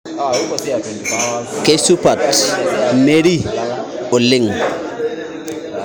Keisupat Mary oleng